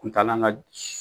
Kuntaalan ka